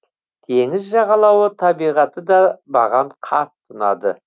теңіз жағалауы табиғаты да маған қатты ұнады